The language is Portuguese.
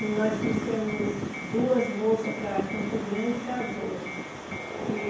E nós trouxemos duas moças para Campo Grande e casou e.